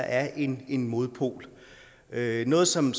er en modpol noget som